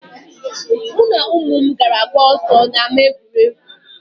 Mụ na ụmụ m gara gbaa ọsọ na ama egwuregwu.